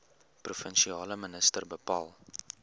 provinsiale minister bepaal